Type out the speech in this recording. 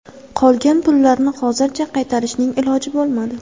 Qolgan pullarni hozircha qaytarishning iloji bo‘lmadi.